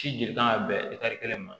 Ci de kan ka bɛn kelen ma